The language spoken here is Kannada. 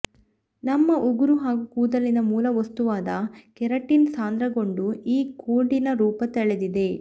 ನಮ್ಮ ಉಗುರು ಹಾಗೂ ಕೂದಲಿನ ಮೂಲವಸ್ತುವಾದ ಕೆರಾಟಿನ್ ಸಾಂದ್ರಗೊಂಡು ಈ ಕೋಡಿನ ರೂಪ ತಳೆದಿದೆ